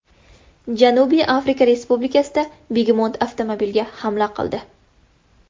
Janubiy Afrika Respublikasida begemot avtomobilga hamla qildi .